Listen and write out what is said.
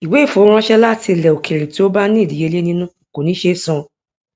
ìwé ìfowóránṣẹ láti ilẹ òkèèrè tí ó bá ní ìdíyelé nínú kò ní ṣe é san